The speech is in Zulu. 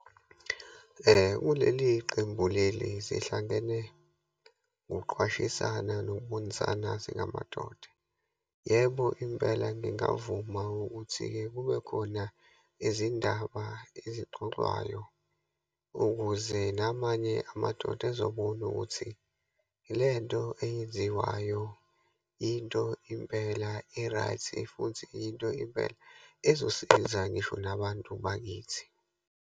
Kuleli qembu leli, sihlangene ngokuqwashisana nokubonisana singamadoda. Yebo, impela ngingavuma ukuthi-ke kubekhona izindaba ezixoxwayo ukuze namanye amadoda ezobona ukuthi lento eyenziwayo, into impela e-right, futhi into impela, ezosiza ngisho nabantu bakithi.